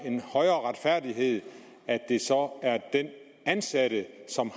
en højere retfærdighed at det så er den ansatte som